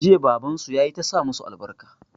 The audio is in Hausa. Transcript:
Jiya baban su yayi ta sa musu albarka